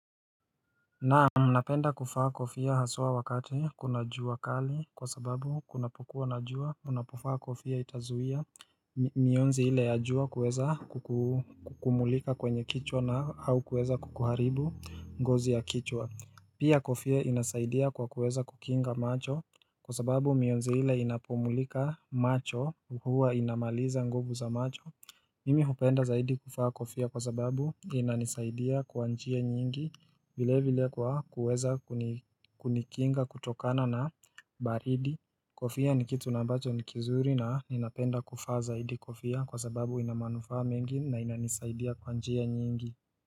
Naam napenda kuvaa kofia haswa wakati kuna jua kali kwa sababu kunapokuwa na jua unapovaa kofia itazuia mionzi ile ajua kweza kukumulika kwenye kichwa na au kuweza kukuharibu ngozi ya kichwa Pia kofia inasaidia kwa kuweza kukinga macho kwa sababu mionzi ile inapomulika macho huwa inamaliza nguvu za macho Mimi hupenda zaidi kuvaa kofia kwa sababu inanisaidia kwa njia nyingi vile vile kwa kuweza kunikinga kutokana na baridi Kofia ni kitu na ambacho ni kizuri na ninapenda kuvaa zaidi kofia kwa sababu ina manufaa mengi na inanisaidia kwa njia nyingi.